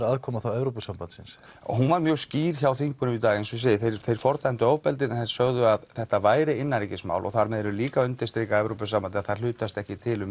aðkoma Evrópusambandsins hún var mjög skýr hjá þingmönnum í dag þeir fordæmdu ofbeldið en þeir sögðu að þetta væri innanríkismál og þar með eru þeir líka að undirstrika að Evrópusambandið hlutast ekki til við